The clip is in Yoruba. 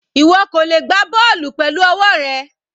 Ìwọ kò lè gbá bọ́ọ̀lù pẹ̀lú ọwọ́ rẹ.